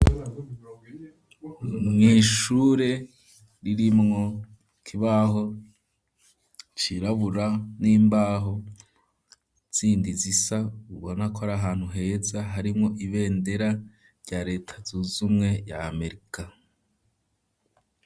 mw’ishure ririmwo ikibaho cirabura n'imbaho zindi zisa ubona kora ahantu heza harimo ibendera rya leta zuzumwe rya Amerika.